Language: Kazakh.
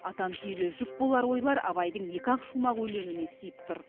атан түйеге жүк болар ойлар абайдың екі ақ шумақ өлеңіне сыйып тұр